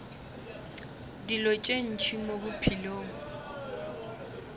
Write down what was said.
dilo tše ntši mo bophelong